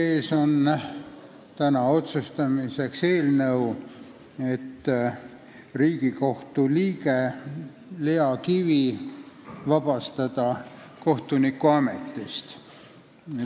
Meie ees on täna otsuse eelnõu, mis näeb ette vabastada Riigikohtu liige Lea Kivi kohtunikuametist.